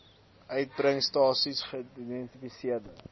uitgebring stasies geïdentifiseerde